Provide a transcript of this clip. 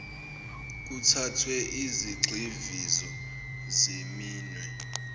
kuthathwe izigxivizo zeminwe